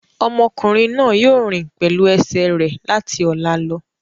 Ọmọkùnrin náà yóò rìn pẹ̀lú ẹsẹ̀ rẹ̀ láti ọ̀la lọ.